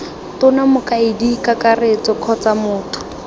tona mokaedi kakaretso kgotsa motho